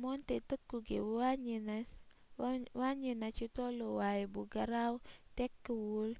moonte tëkku gi wàññi na ci tolluwaay bu garaw tekkiwul